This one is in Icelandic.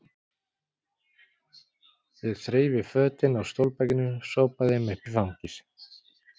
Ég þreif í fötin á stólbakinu, sópaði þeim upp í fangið.